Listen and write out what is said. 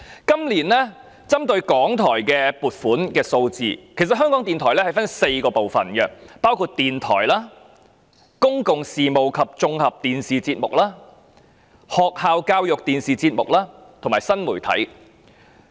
今年有關港台的撥款數字可分為4部分：電台、公共事務及綜合電視節目、學校教育電視節目及新媒體。